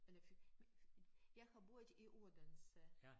Eller fik jeg har boet i Odense